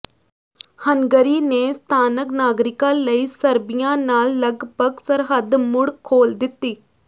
Hungary ਨੇ ਸਥਾਨਕ ਨਾਗਰਿਕਾਂ ਲਈ ਸਰਬੀਆ ਨਾਲ ਲਗਭਗ ਸਰਹੱਦ ਮੁੜ ਖੋਲ੍ਹ ਦਿੱਤੀ